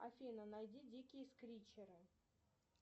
афина найди дикие скричеры